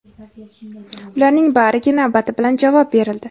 ularning bariga navbati bilan javob berildi.